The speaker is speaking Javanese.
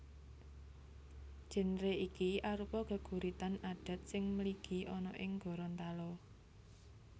Génre iki arupa geguritan adat sing mligi ana ing Gorontalo